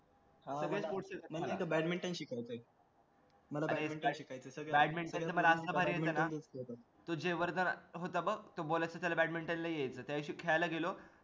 सगळेच मोठे आहेत ते बॅडमिंटन शिकवतेत बॅडमिंटन च पण आतापर्यंत ना तो जयवर्धन होता बघ तो बोलायचा त्याला बॅडमिंटन नाही यायचं त्यादिवशी खेळायला गेलो.